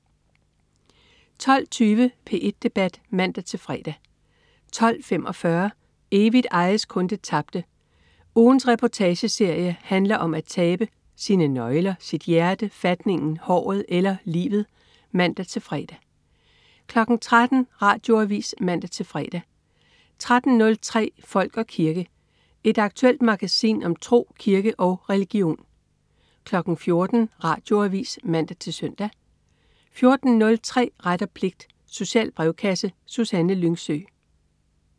12.20 P1 Debat (man-fre) 12.45 Evigt ejes kun det tabte. Ugens reportageserie handler om at tabe. Sine nøgler, sit hjerte, fatningen, håret eller livet (man-fre) 13.00 Radioavis (man-fre) 13.03 Folk og kirke. Et aktuelt magasin om tro, kirke og religion 14.00 Radioavis (man-søn) 14.03 Ret og pligt. Social brevkasse. Susanne Lyngsø